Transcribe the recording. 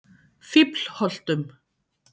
Fíflholtum